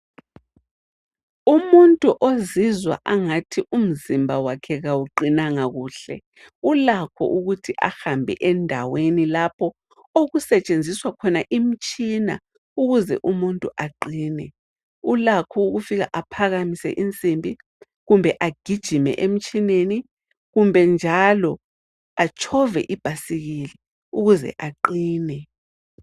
Umuntu ozizwa angathi umzimba wakhe awuqinanga kuhle ulakho ukuthi ahambe endaweni lapho okusetshenziswa khona imitshina ukuze umuntu aqine , ulakho ukufika aphakamise insimbi kumbe agijime emtshineni kumbe njalo atshove ibhayisikili ukuze aqine.